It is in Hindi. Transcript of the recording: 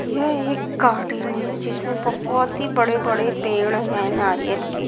यह एक गार्डन जिसमें बहुत ही बड़े-बड़े पेड़ हैं नारियल के--